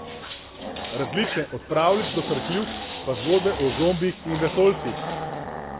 Različne, od pravljic do srhljivk, pa zgodbe o zombijih in vesoljcih.